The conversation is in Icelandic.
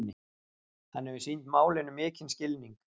Hann hefur sýnt málinu mikinn skilning